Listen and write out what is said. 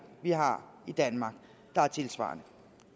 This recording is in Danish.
vi har i danmark der er tilsvarende